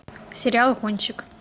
сериал гонщик